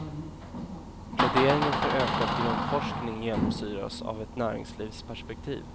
Pläderingen för ökad grundforskning genomsyras av ett näringslivsperspektiv.